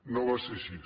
no va ser així